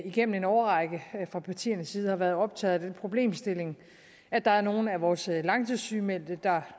igennem en årrække fra partiernes side har været optaget af den problemstilling at der er nogle af vores langtidssygemeldte der